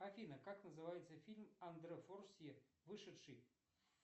афина как называется фильм андре форсье вышедший